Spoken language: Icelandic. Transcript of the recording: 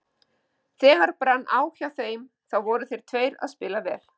Þegar brann á hjá þeim þá voru þeir tveir að spila vel.